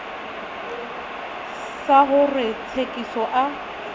sa ho re tsekiso a